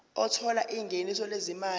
othola ingeniso lezimali